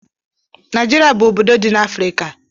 Naijiria bu obodo di na Afrịka.